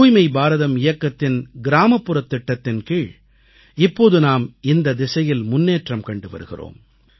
தூய்மை பாரதம் இயக்கத்தின் கிராமப்புறத் திட்டத்தின் கீழ் இப்போது நாம் இந்தத் திசையில் முன்னேற்றம் கண்டு வருகிறோம்